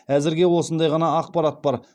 әзірге осындай ғана ақпарат бар